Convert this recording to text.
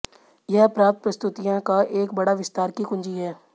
यह प्राप्त प्रस्तुतियाँ का एक बड़ा विस्तार की कुंजी है